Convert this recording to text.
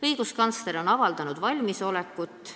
Õiguskantsler on avaldanud valmisolekut